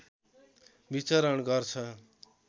विचरण गर्छ